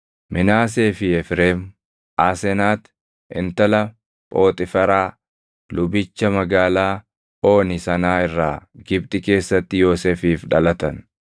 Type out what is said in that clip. Minaasee fi Efreem, Aasenati intala Phooxiiferaa lubicha magaalaa Ooni sanaa irraa Gibxi keessatti Yoosefiif dhalatan.